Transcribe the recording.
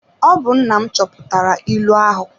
Ọ bụ nna m chọpụtara ịlụ ahụ.